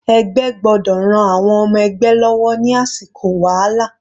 Ẹgbẹ́ gbọ́dọ̀ ran àwọn ọmọ ẹgbẹ́ lọ́wọ́ ní àsìkò wàhálà.